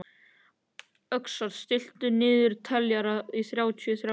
Öxar, stilltu niðurteljara á þrjátíu og þrjár mínútur.